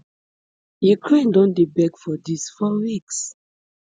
ukraine don dey beg for dis for weeks